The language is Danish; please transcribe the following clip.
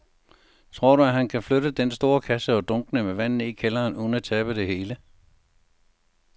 Tror du, at han kan flytte den store kasse og dunkene med vand ned i kælderen uden at tabe det hele?